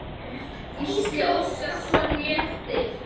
Gísli Óskarsson: Léttir?